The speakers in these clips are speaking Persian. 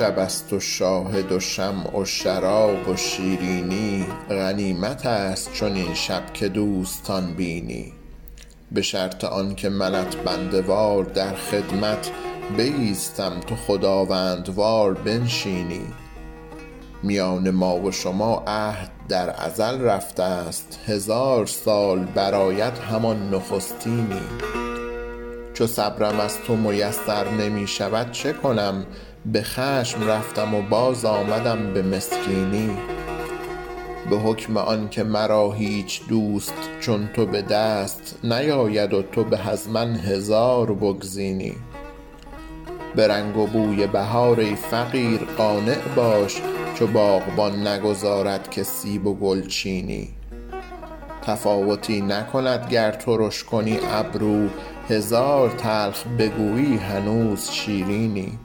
شب است و شاهد و شمع و شراب و شیرینی غنیمت است چنین شب که دوستان بینی به شرط آن که منت بنده وار در خدمت بایستم تو خداوندوار بنشینی میان ما و شما عهد در ازل رفته ست هزار سال برآید همان نخستینی چو صبرم از تو میسر نمی شود چه کنم به خشم رفتم و باز آمدم به مسکینی به حکم آن که مرا هیچ دوست چون تو به دست نیاید و تو به از من هزار بگزینی به رنگ و بوی بهار ای فقیر قانع باش چو باغبان نگذارد که سیب و گل چینی تفاوتی نکند گر ترش کنی ابرو هزار تلخ بگویی هنوز شیرینی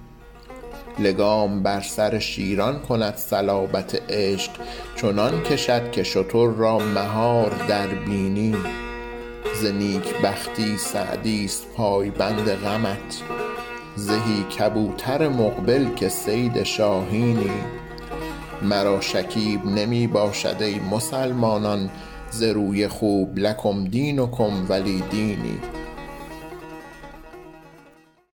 لگام بر سر شیران کند صلابت عشق چنان کشد که شتر را مهار در بینی ز نیک بختی سعدی ست پایبند غمت زهی کبوتر مقبل که صید شاهینی مرا شکیب نمی باشد ای مسلمانان ز روی خوب لکم دینکم ولی دینی